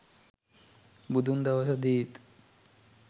බුදුන් දවසදීත්